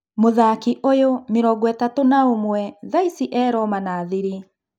Mũthaki ũyũ, mĩrongoĩtatu na ũmwe thaici e-Roma na Thirĩ.